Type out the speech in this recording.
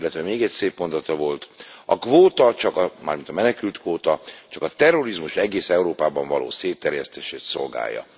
Illetve még egy szép mondata volt A kvóta mármint a menekültkvóta csak a terrorizmus egész Európában való szétterjesztését szolgálja.